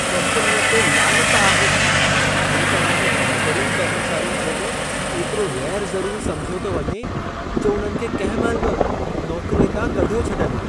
कम्पनीअ ते लानत आहे छो त इन में बहितरीन कर्मचारियुनि खे बि एतिरो ग़ैर-ज़रूरी समिझियो थो वञे, जो उन्हनि खे कंहिं महिल बि नौकरीअ तां कढियो छॾनि।